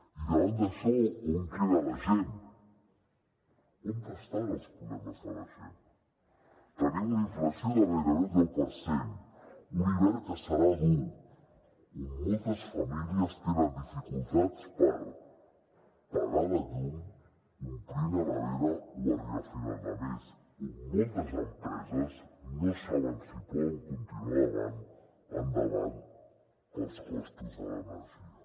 i davant d’això on queda la gent on estan els problemes de la gent tenim una inflació de gairebé el deu per cent un hivern que serà dur on moltes famílies tenen dificultats per pagar la llum omplir la nevera o arribar a final de mes on moltes empreses no saben si poden continuar endavant pels costos de l’energia